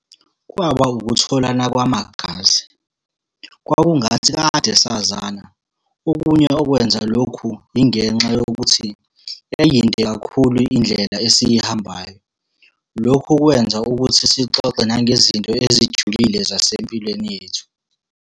Kwaba ukutholana kwamagazi. Kwakungathi kade sazana. Okunye okwenza lokhu, ingenxa yokuthi yayiyinde kakhulu indlela esiyihambayo. Lokho kwenza ukuthi sixoxe nangezinto ezijulile zasempilweni yethu.